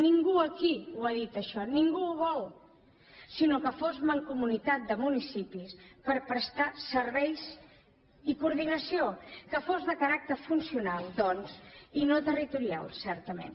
ningú aquí ho ha dit això ningú ho vol sinó que fos mancomunitat de municipis per prestar serveis i coordinació que fos de caràcter funcional doncs i no territorial certament